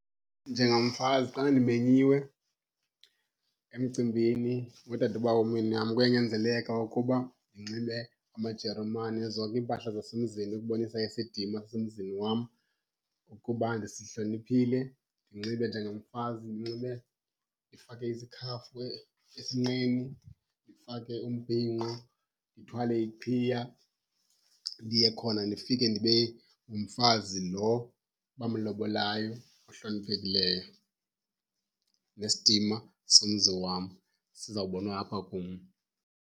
Njengamfazi xa ndimenyiwe emcimbini wodadobawo womyeni wam kuyanyanzeleka ukuba ndinxibe amajeremane, zonke iimpahla zasemizini ukubonisa isidima sasemzini wam ukuba ndisihloniphile. Ndinxibe njengomfazi ndinxibe ndifake isikhafu esinqeni, ndifake umbhinqo, ndithwale iqhiya. Ndiye khona ndifike ndibe ngumfazi lo bamlobolayo ohloniphekileyo, nesidima somzi wam sizawubonwa apha kum.